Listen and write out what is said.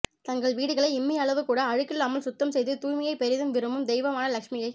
தங்கள் வீடுகளை இம்மி அளவு கூட அழுக்கில்லாமல் சுத்தம் செய்து தூய்மையைப் பெரிதும் விரும்பும் தெய்வமான லக்ஷமியை